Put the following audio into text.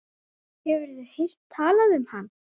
Hefurðu heyrt talað um hann?